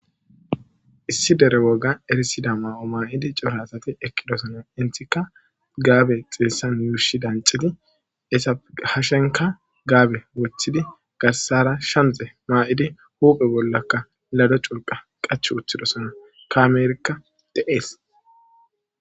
issi dere woga erisida maa'o maa'idi cora asati ekkidosona intika gaabe xeessan yuushi dancidi hashenka gaabe wothidi garsara shamxe maa'idi hupe bollaka lado culqa qach wothidosona kaameerikka de'ees